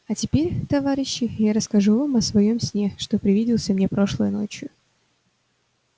а теперь товарищи я расскажу вам о своём сне что привиделся мне прошлой ночью